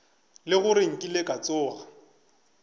le gore nkile ka tsoga